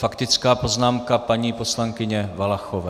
Faktická poznámka paní poslankyně Valachové.